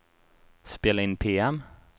spela in PM